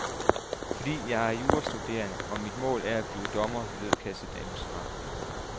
Fordi jeg er jurastuderende, og mit mål er at blive dommer, lød kassedamens svar.